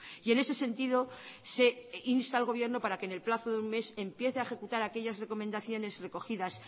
y en ese sentido se insta al gobierno para que en el plazo de un mes empiece a ejecutar aquellas recomendaciones recogidas